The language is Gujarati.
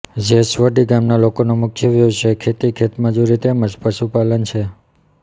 જેસવડી ગામના લોકોનો મુખ્ય વ્યવસાય ખેતી ખેતમજૂરી તેમ જ પશુપાલન છે